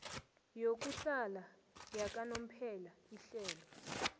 yokuhlala yakanomphela ihlelo